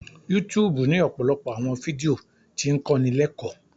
YouTube ni ọpọlọpọ awọn fidio ti ń kọni lẹkọ